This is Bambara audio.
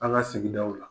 An ka sigidaw la